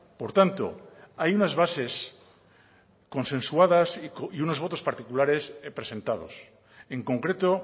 por tanto hay unas bases consensuadas y unos votos particulares presentados en concreto